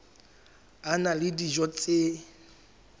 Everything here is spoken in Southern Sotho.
a na le dijo tse